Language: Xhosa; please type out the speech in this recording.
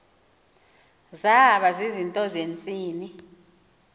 zaba zizinto zentsini